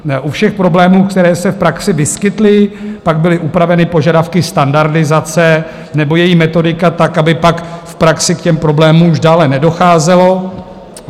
U všech problémů, které se v praxi vyskytly, pak byly upraveny požadavky standardizace nebo její metodika tak, aby pak v praxi k těm problémům už dále nedocházelo.